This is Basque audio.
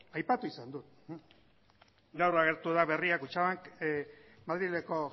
aipatu izan du gaur agertu da berrian kutxabank madrileko